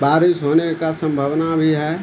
बारिश होने का संभावना भी है।